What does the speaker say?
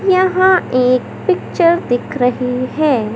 यहां एक पिक्चर दिख रही है।